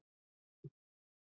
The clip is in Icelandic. Gleymdu þessu